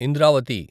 Indravati